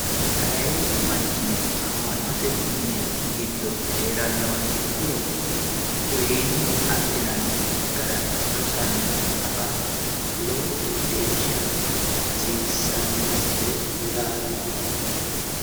ayee manchino amma'note mini giddo heerannoha ikkiro uyiine adhinanni gara rosanna afa lowo geeshsha hasiissannosite yaate.